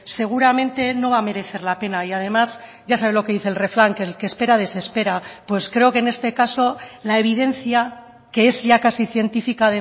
seguramente no va a merecer la pena y además ya sabe lo que dice el refrán que el que espera desespera pues creo que en este caso la evidencia que es ya casi científica